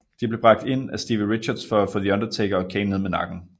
De blev bragt ind af Stevie Richards for at få The Undertaker og Kane ned med nakken